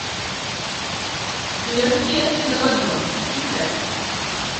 легкие на подъем искать